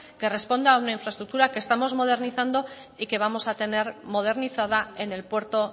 que responda a una infraestructura que estamos modernizando y que vamos a tener modernizada en el puerto